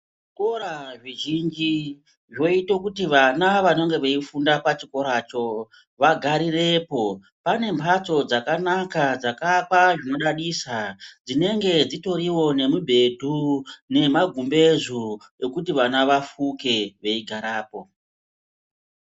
Zvikora zvizhi zvoite kuti vana vanonge vachifunda pachikoracho vagarirepo, pane mhatso dzakanaka dzakaakwa zvinodadisa dzinonga dzitorine mubhedhu nemagumbezu ekuti vana vafuke veigarepo.